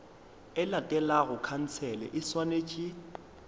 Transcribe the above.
e latelago khansele e swanetše